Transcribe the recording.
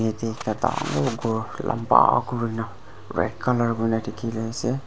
yate ekta dangor ghor lamba kurna red colour kurna dikhiase.